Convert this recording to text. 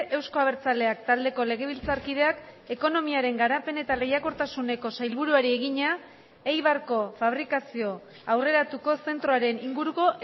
euzko abertzaleak taldeko legebiltzarkideak ekonomiaren garapen eta lehiakortasuneko sailburuari egina eibarko fabrikazio aurreratuko zentroaren inguruko